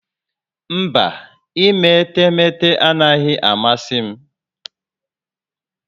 Mba, ime etemeete anaghị amasị m